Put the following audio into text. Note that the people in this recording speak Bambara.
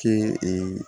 Kɛ